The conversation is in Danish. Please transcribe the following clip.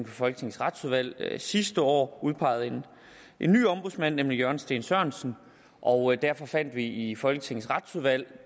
folketingets retsudvalg sidste år udpeget en ny ombudsmand nemlig jørgen steen sørensen og derfor fandt vi i folketingets retsudvalg